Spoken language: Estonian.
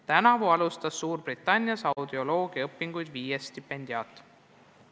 Tänavu alustas Suurbritannias audioloogiaõpinguid viies stipendiaat.